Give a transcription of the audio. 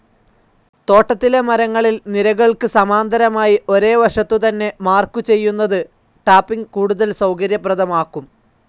തോട്ടത്തിലെ മരങ്ങളിൽ നിരകൾക്ക് സമാന്തരമായി ഒരേ വശത്തുതന്നെ മാർക്ക്‌ ചെയ്യുന്നത് ടാപ്പിംഗ്‌ കൂടുതൽ സൗകര്യപ്രദമാക്കും.